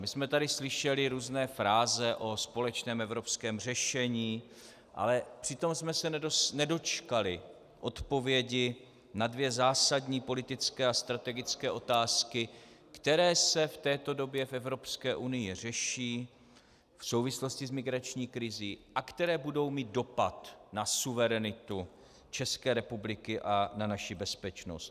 My jsme tady slyšeli různé fráze o společném evropském řešení, ale přitom jsme se nedočkali odpovědi na dvě zásadní politické a strategické otázky, které se v této době v Evropské unii řeší v souvislosti s migrační krizí a které budou mít dopad na suverenitu České republiky a na naši bezpečnost.